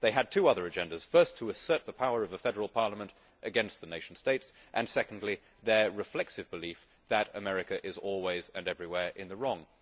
They had two other agendas first to assert the power of the federal parliament against the nation states, and, secondly, their reflexive belief that America is always and everywhere in the wrong.